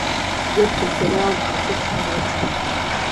детки сериал две тысячи девятнадцать